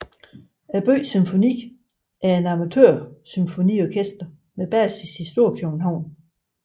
Byens Symfoni er et amatørsymfoniorkester med basis i Storkøbenhavn